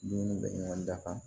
Dumuni bɛ ɲɔgɔn dafa